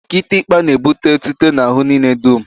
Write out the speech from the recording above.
Kịtịkpa n'ebute etuto n'ahụ niile dum